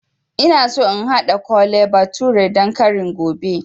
Ina so in haɗa Kole bathure dan kari gobe